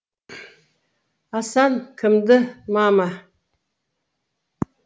асан кімді мама